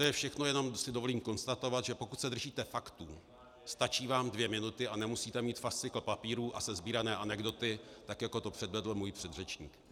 To je všechno, jenom si dovolím konstatovat, že pokud se držíte faktů, stačí vám dvě minuty a nemusíte mít fascikl papírů a sesbírané anekdoty, tak jako to předvedl můj předřečník.